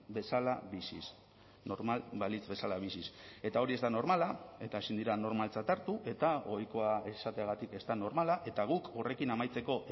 bezala biziz normal balitz bezala biziz eta hori ez da normala eta ezin dira normaltzat hartu eta ohikoa esateagatik ez da normala eta guk horrekin amaitzeko